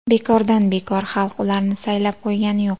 Bekordan bekor xalq ularni saylab qo‘ygani yo‘q.